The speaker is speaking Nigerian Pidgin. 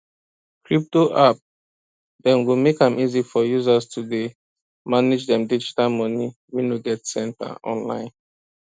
crypto app dem go make am easy for users to dey manage dem digital money wey no get center online